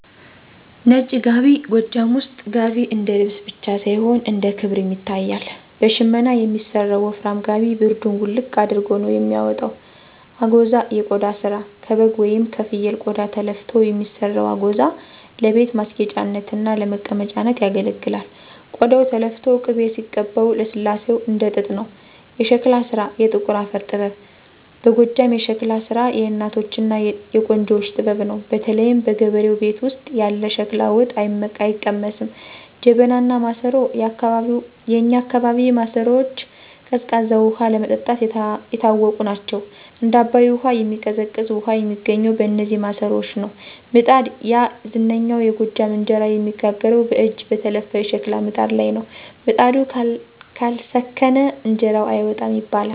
ነጭ ጋቢ፦ ጎጃም ውስጥ "ጋቢ" እንደ ልብስ ብቻ ሳይሆን እንደ ክብርም ይታያል። በሽመና የሚሰራው ወፍራም ጋቢ ብርዱን "ውልቅ" አድርጎ ነው የሚያወጣው። አጎዛ (የቆዳ ስራ)፦ ከበግ ወይም ከፍየል ቆዳ ተለፍቶ የሚሰራው "አጎዛ" ለቤት ማስጌጫነትና ለመቀመጫነት ያገለግላል። ቆዳው ተለፍቶ ቅቤ ሲቀባው ልስላሴው እንደ ጥጥ ነው። የሸክላ ስራ (የጥቁር አፈር ጥበብ) በጎጃም የሸክላ ስራ የእናቶችና የቆንጆዎች ጥበብ ነው። በተለይ በገበሬው ቤት ውስጥ ያለ ሸክላ ወጥ አይቀመስም! ጀበናና ማሰሮ፦ የእኛ አካባቢ ማሰሮዎች ቀዝቃዛ ውሃ ለመጠጣት የታወቁ ናቸው። "እንደ አባይ ውሃ የሚቀዘቅዝ" ውሃ የሚገኘው በነዚህ ማሰሮዎች ነው። ምጣድ፦ ያ ዝነኛው የጎጃም እንጀራ የሚጋገረው በእጅ በተለፋ የሸክላ ምጣድ ላይ ነው። "ምጣዱ ካልሰከነ እንጀራው አይወጣም" ይባላል።